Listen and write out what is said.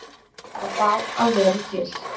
Að fá að vera til.